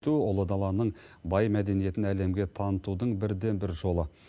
ту ұлы даланың бай мәдениетін әлемге танытудың бірден бір жолы